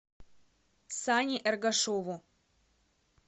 сане эргашеву